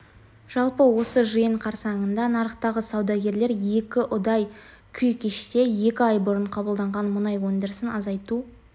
жалпы осы жиын қарсаңында нарықтағы саудагерлер екіұдай күй кешті екі ай бұрын қабылданған мұнай өндірісін азайту